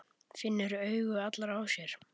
Finnur augu allra á sér.